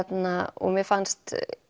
og mér fannst